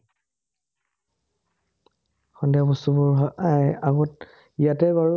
সন্ধিয়া বস্তুবোৰ এই আগত, ইয়াতে বাৰু